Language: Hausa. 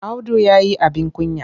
Audu ya yi abin kunya.